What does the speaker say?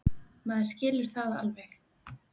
Maður skilur það alveg.